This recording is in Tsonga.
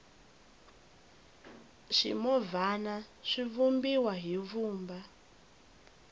swimovhana swi vumbiwa hi vumba